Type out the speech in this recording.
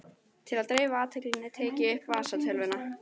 Til að dreifa athyglinni tek ég upp vasatölvuna.